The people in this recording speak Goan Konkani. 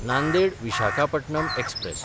नांदेड–विशाखापटणम एक्सप्रॅस